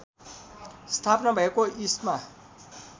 स्थापना भएको इस्मा